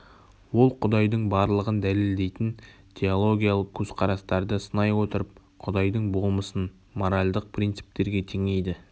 ол құдайдың барлығын дәлелдейтін теологиялық көзқарастарды сынай отырып құдайдың болмысын моральдық принциптерге теңейді